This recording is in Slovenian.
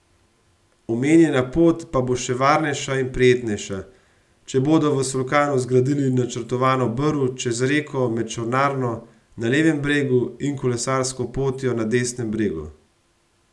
Omenjena pot pa bo še varnejša in prijetnejša, če bodo v Solkanu zgradili načrtovano brv čez reko med čolnarno na levem bregu in kolesarsko potjo na desnem bregu.